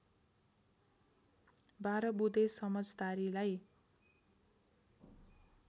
१२ बुँदे समझदारीलाई